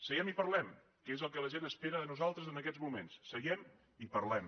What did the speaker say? seguem i parlem que és el que la gent espera de nosaltres en aquests moments seguem i parlem